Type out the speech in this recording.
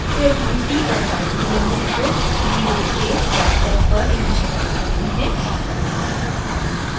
फिर हम t और y की वैल्यूज़ को ज़ीरोज़ के वेक्टर्स पर इनिशिअलाइज़ करते हैं